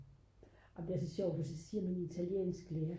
ej men det er så sjovt for så siger min italiensklærer